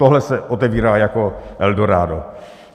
Tohle se otevírá jako Eldorádo.